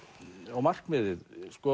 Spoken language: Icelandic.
og markmiðið